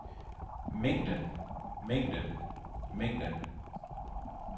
mængden mængden mængden